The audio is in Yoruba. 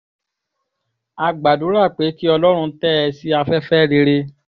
a gbàdúrà pé kí ọlọ́run tẹ́ ẹ sí afẹ́fẹ́ rere